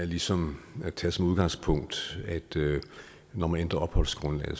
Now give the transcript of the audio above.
ligesom at tage som udgangspunkt at når man ændrer opholdsgrundlag